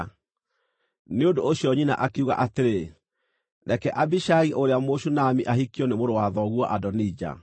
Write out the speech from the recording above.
Nĩ ũndũ ũcio nyina akiuga atĩrĩ, “Reke Abishagi ũrĩa Mũshunami ahikio nĩ mũrũ wa thoguo Adonija.”